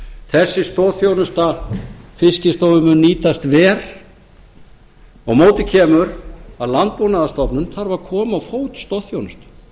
þessi stoðþjónusta mun nýtast verr á móti kemur að landbúnaðarstofnun þarf að koma á fót stoðþjónustu